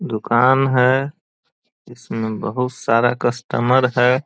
दूकान है इसमे बहुत सारा कस्टमर है।